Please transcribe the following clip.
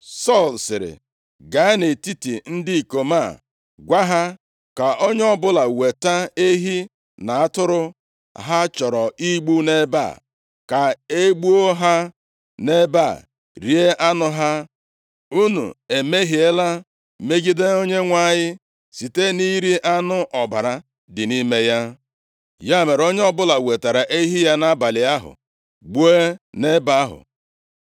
Sọl sịrị, “Gaa nʼetiti ndị ikom a gwa ha, ‘Ka onye ọbụla weta ehi na atụrụ ha chọrọ igbu nʼebe a, ka e gbuo ha nʼebe a, rie anụ ha. Unu emehiela megide Onyenwe anyị site nʼiri anụ ọbara dị nʼime ya.’ ” Ya mere, onye ọbụla wetara ehi ya nʼabalị ahụ, gbuo nʼebe ahụ.